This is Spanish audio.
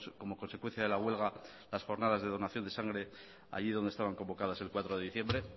como consecuencia de la huelga las jornadas de donación de sangre allí donde estaban convocadas el cuatro de diciembre